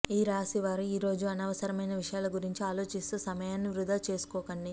ఈ రాశి వారు ఈరోజు అనవసరమైన విషయాల గురించి ఆలోచిస్తూ సమయాన్ని వృథా చేసుకోకండి